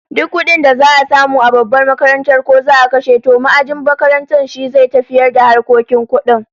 Duk kudin da za'a samu a babbar makarantar, ko za'a kashe, to ma'ajin makaranta shi zai tafiyar da harkokin kudin